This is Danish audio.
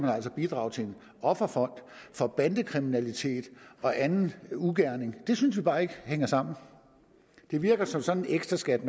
bidrage til en offerfond for bandekriminalitet og anden ugerning det synes vi bare ikke hænger sammen det virker som sådan en ekstra skat